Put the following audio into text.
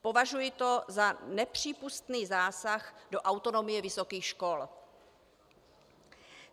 Považuji to za nepřípustný zásah do autonomie vysokých škol.